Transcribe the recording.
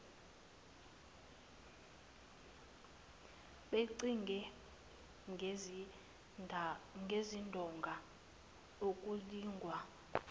bencike ngezindonga ukulingwa